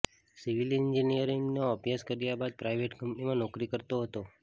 civil એન્જિનિયરિંગનો અભ્યાસ કર્યા બાદ પ્રાઈવેટ કંપનીમાં નોકરી કરતો હતો